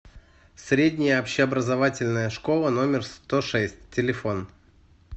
средняя общеобразовательная школа номер сто шесть телефон